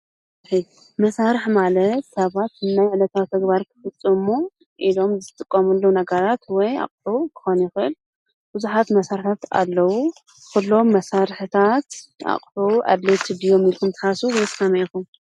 መሳርሒ ሰባት ንናይ ዕለታዊ ተግባር ንክፍፅሙ ዝጥቀምሉ ነገራት ወይ አቂሑ ክኮን ይክእል። ቡዙሓት መሳሪሒታት ኣለው። ኩሎም መሳርሒታት አድላዪ ኢልኩም ዶ ትሓስቡ?